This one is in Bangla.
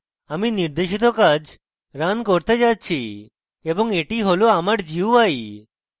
আমি নির্দেশিত কাজ রান করতে যাচ্ছি এবং এটি হল আমার gui